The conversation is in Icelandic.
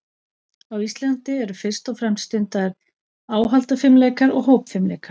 Á Íslandi eru fyrst og fremst stundaðir áhaldafimleikar og hópfimleikar.